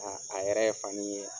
Ɔ a yɛrɛ ye fani in ye ɲan.